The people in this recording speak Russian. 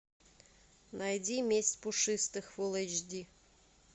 найди месть пушистых фулл эйч ди